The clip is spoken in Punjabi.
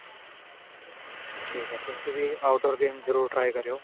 ਠੀਕ ਏ ਤੁਸੀਂ ਵੀ outdoor games ਜਰੂਰ try ਕਰਿਉ